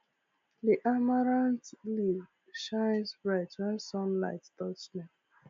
the amaranth leaves shine bright when sunlight touch dem